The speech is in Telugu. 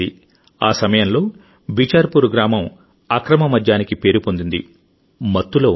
ఆ సమయంలోబిచార్పూర్ గ్రామం అక్రమ మద్యానికి పేరు పొందిందిమత్తులో ఉంది